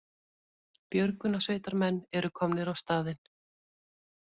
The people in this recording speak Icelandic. Björgunarsveitarmenn eru komnir á staðinn